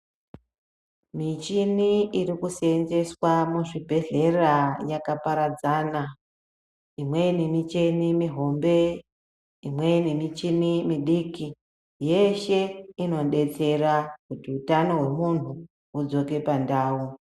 Michini iri kusenzeswa muzvibhedhlera yakaparadzana imweni micheni mihombe imweni michini midiki yeshe inodetsera hutano hwemuntu hudzoke pandau.